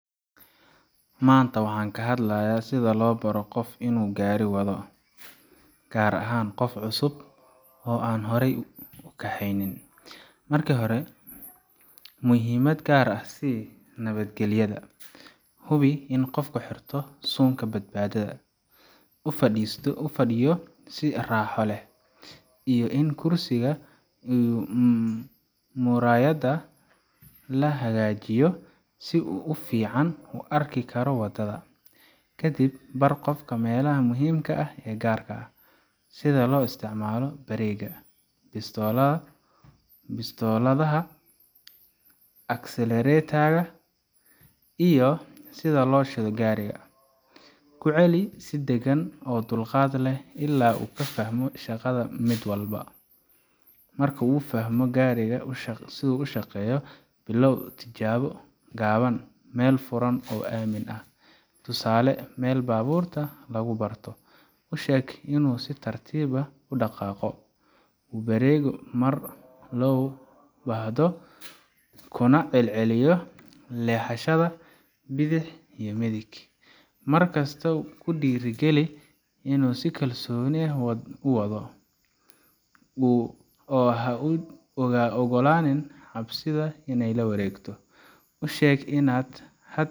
Maanta waxaan ka hadlayaa sida loo baro qof inuu gaari wado, gaar ahaan qof cusub oo aan horay u kaxaynin. Marka hore, muhiimad gaar ah sii nabadgelyada. Hubi in qofka xirto suunka badbaadada, uu fadhiyo si raaxo leh, iyo in kuraasta iyo muraayadaha la hagaajiyo si uu si fiican u arki karo waddada. Kadib, bar qofka meelaha muhiimka ah ee gaariga: sida loo isticmaalo bareega, bistooladaha, accelerator ka, iyo sida loo shido gaariga. Ku celi si degan oo dulqaad leh ilaa uu fahmo shaqada mid walba. Marka uu fahmo sida gaariga u shaqeeyo, billaaw tijaabo gaaban meel furan oo aamin ah tusaale, meel baabuurta lagu barto. U sheeg inuu si tartiib ah u dhaqaaqo, u bareego marka loo baahdo, kuna celceliyo leexashada bidix iyo midig. Markasta ku dhiirrigeli inuu si kalsooni leh u wado, oo ha u oggolaanin cabsida inay la wareegto. U sheeg inaad